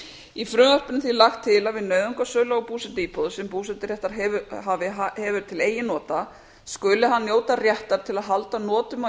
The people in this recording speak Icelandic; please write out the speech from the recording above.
í frumvarpinu er því lagt til að við nauðungarsölu á búsetuíbúð sem búseturéttarhafi hefur til eigin nota skuli hann njóta réttar til að halda notum af